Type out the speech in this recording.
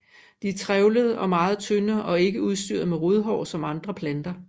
De er trævlede og meget tynde og ikke udstyret med rodhår som andre planter